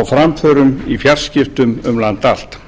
og framförum í fjarskiptum um land allt